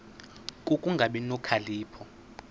ku kungabi nokhalipho